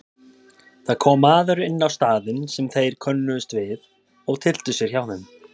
Það kom maður inn á staðinn sem þeir könnuðust við og tyllti sér hjá þeim.